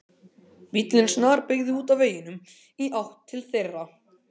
Bíllinn snarbeygði út af veginum og í áttina til þeirra.